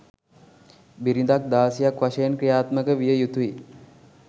බිරිඳක් දාසියක් වශයෙන් ක්‍රියාත්මක විය යුතුයි